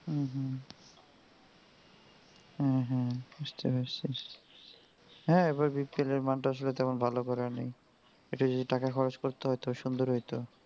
হম হম বুঝতে পারসি হ্যাঁ এবার BPL এর মানটা আসলে তেমন ভালো করে নাই. একটু যদি টাকা খরচ করতে হতো সুন্দর হইতো.